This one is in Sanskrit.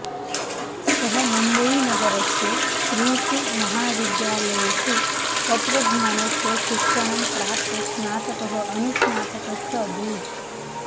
सः मुम्बई नगरस्य त्रिषु महाविद्यालयेषु तत्त्वज्ञानस्य शिक्षणं प्राप्त स्नातकः अनुस्नातकश्च अभूत्